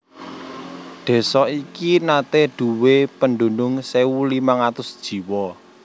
Désa iki naté nduwé pedunung sewu limang atus jiwa